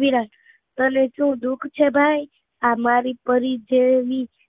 વિરાટ તને શુ દુઃખ છે ભાઈ, મારી પરી જેવી